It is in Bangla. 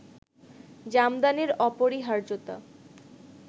জামদানির অপরিহার্যতা